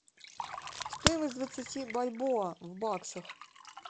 стоимость двадцати бальбоа в баксах